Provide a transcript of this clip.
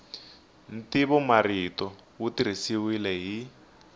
ntivomarito wu tirhisiwile hi